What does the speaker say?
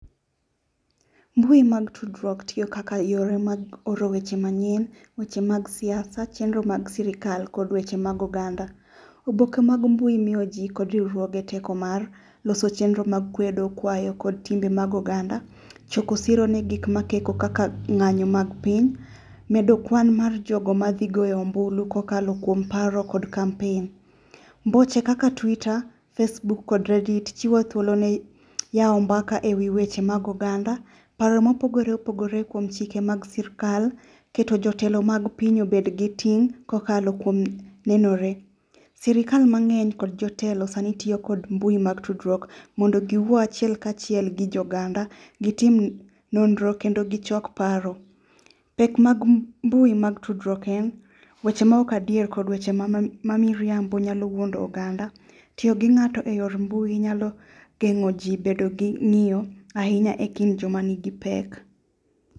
Mbui mag tudruok tiyo kaka yore mag oro weche manyien, weche mag siasa, chenro mag sirikal kod weche mag oganda. Oboke mag mbui miyo ji kod riwruoge teko mar loso chenro mag kwedo kwayo kod timbe mag oganda, choko siro ne gik ma theko kaka ng'anyo mag piny. Medo kwan jogo madhi goyo ombulu kokalo kuom paro kod kampen. Mboche kaka twita, facebook kod redit chiwo thuolo ni yawo mbaka ewi weche mag oganda, paro ma opogore opogore kuom chike mag sirkal, keto jotelo mag piny obed gi ting' kokalo kuom nenore. Sirkal mang'eny kod jotelo sani tiyo kod mbui mag tudruok mondo giwachie kachiel gi oganda gitim nonro kendo gichok paro. Pek mag mbui mag tudruok en weche maok adier kod weche mamiriambo nyalo wuondo oganda . Tiyo gi ng'ato eyor mbui nyalo geng'o ji bedo gi ng'iyo ahinya ekind joma nigi pek .